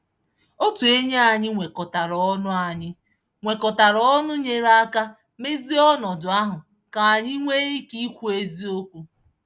Otu enyi anyị nwekọtara ọnụ anyị nwekọtara ọnụ nyere aka mezie ọnọdụ ahụ ka anyị nwee ike ikwu eziokwu.